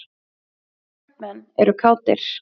Kaupmenn eru kátir.